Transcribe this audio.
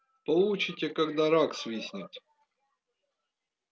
получите когда рак свистнет